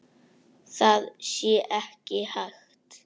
Það sé ekki hægt.